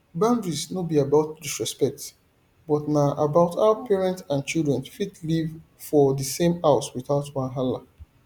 boundaries no be about disrespect but na about how parents and children fit live for the same house without wahala